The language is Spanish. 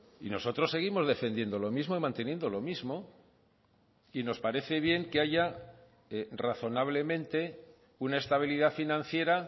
y nosotros seguimos defendiendo lo mismo y manteniendo lo mismo y nos parece bien que haya razonablemente una estabilidad financiera